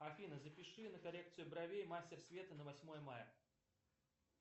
афина запиши на коррекцию бровей мастер света на восьмое мая